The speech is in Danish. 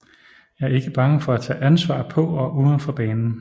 Er ikke bange for at tage ansvar på og udenfor banen